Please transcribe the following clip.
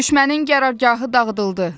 Düşmənin qərargahı dağıdıldı.